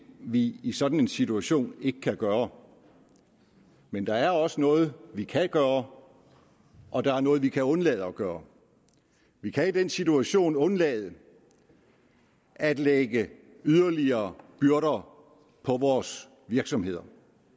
vi i sådan en situation ikke kan gøre men der er også noget vi kan gøre og der er noget vi kan undlade at gøre vi kan i den situation undlade at lægge yderligere byrder på vores virksomheder